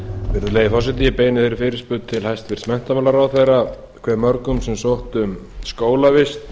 virðulegi forseti ég beini fyrirspurn til hæstvirts menntamálaráðherra hve mörgum sem sóttu um skólavist